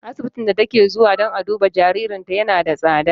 Asibitin da take zuwa dan a duba jaririnta yana da tsada.